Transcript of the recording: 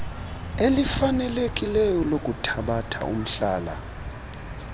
elifanelekileyo lokuthabatha umhlala